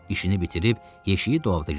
İşini bitirib yeşiyi dolabda gizlətdi.